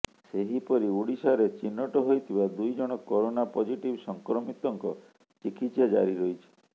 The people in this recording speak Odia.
ସେହିପରି ଓଡିଶାରେ ଚିହ୍ନଟ ହୋଇଥିବା ଦୁଇଜଣ କରୋନା ପଜିଟିଭ୍ ସଂକ୍ରମିତଙ୍କ ଚିକିତ୍ସା ଜାରି ରହିଛି